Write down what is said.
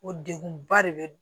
O degun ba de bɛ